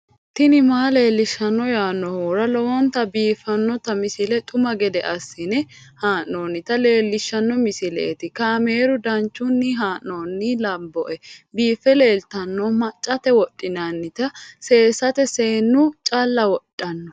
tini maa leelishshanno yaannohura lowonta biiffanota misile xuma gede assine haa'noonnita leellishshanno misileeti kaameru danchunni haa'noonni lamboe biiffe leeeltanno maccate wodhinannite seesate seennu callu wodhanno .